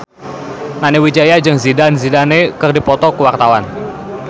Nani Wijaya jeung Zidane Zidane keur dipoto ku wartawan